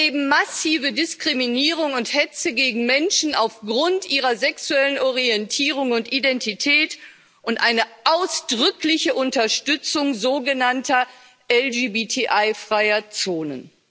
Wir erleben massive Diskriminierung und Hetze gegen Menschen aufgrund ihrer sexuellen Orientierung und Identität und eine ausdrückliche Unterstützung sogenannter LGBTI freier Zonen.